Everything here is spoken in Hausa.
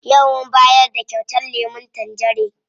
Yau mun bayar da kyautar lemun tangerin.